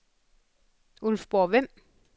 Ulfborg-Vemb